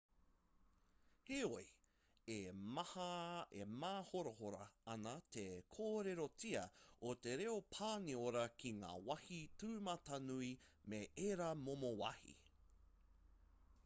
heoi e māhorahora ana te kōrerotia o te reo pāniora ki ngā wāhi tūmatanui me ērā momo wāhi